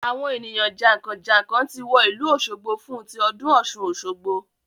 Àwọn ènìyàn jànkànjànkàn ti wọ ìlú òsogbo fún tí ọdún Ọ̀ṣun Osogbo